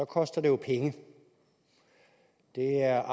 koster det jo penge det er